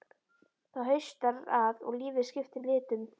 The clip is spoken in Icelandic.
Það haustar að og lífið skiptir litum.